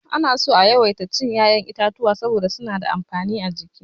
Ana so a yawaita cin ya'yan itatuwa saboda suna da amfani a jiki.